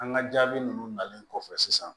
An ka jaabi ninnu nalen kɔfɛ sisan